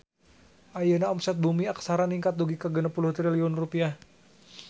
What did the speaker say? Ayeuna omset Bumi Aksara ningkat dugi ka 60 triliun rupiah